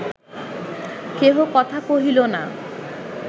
কেহ কথা কহিল না